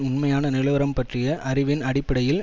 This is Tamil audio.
உண்மையான நிலவரம் பற்றிய அறிவின் அடிப்படையில்